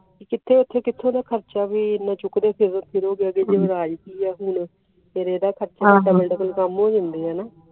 ਉਹ ਕਿੱਥੇ ਦਾ ਖਰਚਾ ਵੀ ਐਨਾ ਸ਼ੁਕਰ ਯੁਵਰਾਜ ਵੀ ਐ double double ਕਾਮ ਹੋ ਜਾਂਦੇ ਆਂ ਨਾ